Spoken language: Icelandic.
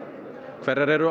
hverjar eru